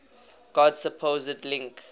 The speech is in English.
god's supposed link